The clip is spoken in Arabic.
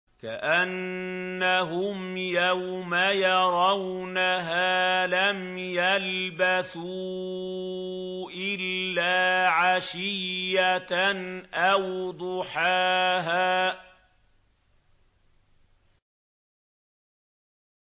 كَأَنَّهُمْ يَوْمَ يَرَوْنَهَا لَمْ يَلْبَثُوا إِلَّا عَشِيَّةً أَوْ ضُحَاهَا